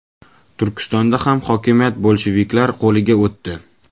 Turkistonda ham hokimiyat bolsheviklar qo‘liga o‘tdi.